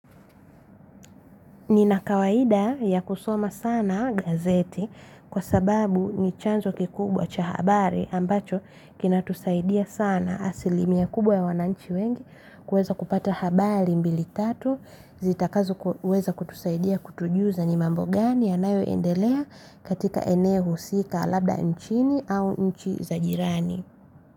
Nina kawaida ya kusoma sana gazeti kwa sababu ni chanzo kikubwa cha habari ambacho kina tusaidia sana asilimia kubwa ya wananchi wengi kuweza kupata habari mbili tatu zitakazo kuweza kutusaidia kutujuza ni mambo gani ya nayoendelea katika eneo husika labda nchini au nchi za jirani.